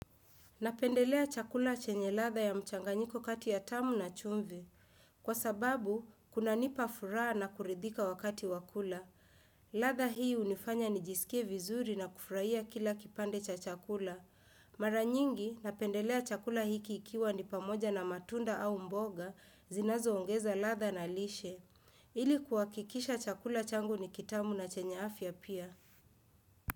Napendelea chakula chenye ladha ya mchanganyiko kati ya tamu na chumvi. Kwa sababu, kunanipa furaha na kuridhika wakati wa kula. Ladha hii hunifanya nijisikie vizuri na kufurahia kila kipande cha chakula. Mara nyingi, napendelea chakula hiki ikiwa ni pamoja na matunda au mboga, zinazoongeza ladha na lishe. Ili kuhakikisha chakula changu ni kitamu na chenye afya pia.